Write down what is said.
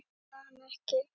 Sérðu hana ekki?